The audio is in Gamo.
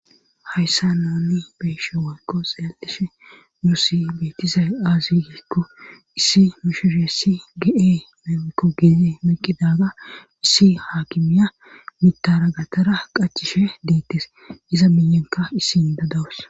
hayssan nuuni be7ishe woykko xeellishin nuussi beettizay aaze giikko issi mishireessi ge7ee woykko gede meqqidaga issi haakimiya mittara gattara qachchishe deettes iza miyenkka issi micha dawus.